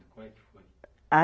Como é que foi? a